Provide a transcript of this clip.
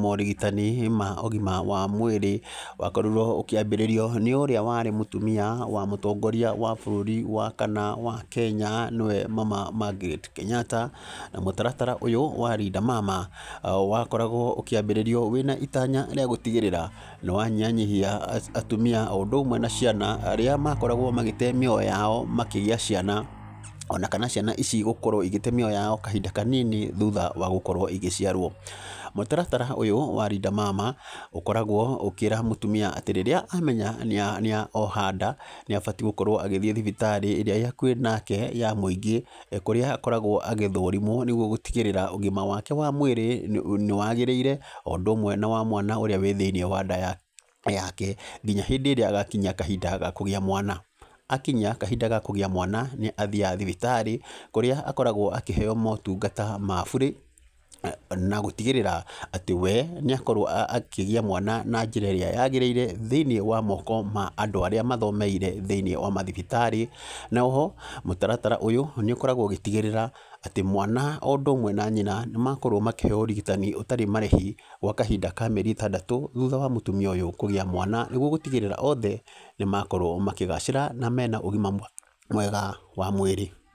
morigitani ma ũgima wa mwĩrĩ, wakorirwo ũkĩambĩrĩrio nĩ ũrĩa warĩ mũtumia wa mũtongoria wa bũrũri wa kana wa Kenya, nĩwe Mama Magret Kenyatta. Na mũtaratara ũyũ wa Linda Mama, wakoragwo ũkĩambĩrĩrio wĩna itanya rĩa gũtigĩrĩra nĩ wanyihanyihia atumia o ũndũ ũmwe na ciana arĩa makoragwo magĩte mĩoyo yao makĩgĩa ciana, ona kana ciana ici gũkorwo igĩte mĩoyo yao kahinda kanini thutha wa gũkorwo igĩciarwo. Mũtaratara ũyũ wa Linda Mama, ũkoragwo ũkĩra mũtumia atĩ rĩrĩa amenya nĩ nĩ oha nda, nĩ abati gũkorwo agĩthiĩ thibitarĩ ĩrĩa ĩĩ hakuhĩ nake ya mũingĩ, kũrĩa akoragwo agĩthũrimwo nĩguo gũtigĩrĩra ũgima wake wa mwĩrĩ nĩ nĩ wagĩrĩire, o ũndũ ũmwe na wa mwana ũrĩa wĩ thĩiniĩ wa nda yake nginya hĩndĩ ĩrĩa agakinyia kahinda ga kũgĩa mwana. Akinyia kahinda ga kũgĩa mwana, nĩ athiaga thibitarĩ, kũrĩa akoragwo akĩheo motungata ma burĩ, na gũtigĩrĩra atĩ we nĩ akorwo akĩgĩa mwana na njĩra ĩrĩa yagĩrĩire thĩiniĩ wa moko ma andũ arĩa mathomeire thĩiniĩ wa mathibitarĩ. Na oho, mũtaratara ũyũ, nĩ ũkoragwo ũgĩtigĩrĩra, atĩ mwana o ũndũ ũmwe na nyina, nĩ makorwo makĩheo ũrigitani ũtarĩ marĩhi kwa kahinda ka mĩeri ĩtandatũ thutha wa mũtumia ũyũ kũgĩa mwana. Nĩguo gũtigĩrĩra othe nĩ makorwo makĩgacĩra, na mena ũgima mwega wa mwĩrĩ.